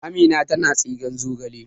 Amina tana tsigen zogale